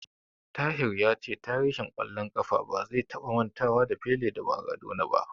Tahir ya ce tarihin ƙwallon ƙafa ba zai taba mantawa da Pele da Maradona ba.